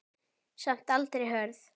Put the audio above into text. Samt aldrei hörð.